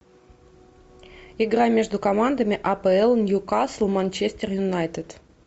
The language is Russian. игра между командами апл ньюкасл манчестер юнайтед